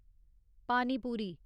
पानी पूरी